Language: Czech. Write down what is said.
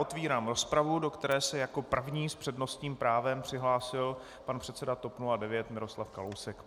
Otevírám rozpravu, do které se jako první s přednostním právem přihlásil pan předseda TOP 09 Miroslav Kalousek.